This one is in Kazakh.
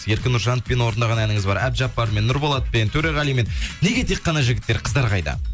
еркін нұржановпен орындаған әніңіз бар әбдіжаппармен нұрболатпен төреғалимен неге тек қана жігіттер қыздар қайда